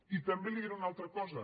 i també li diré una altra cosa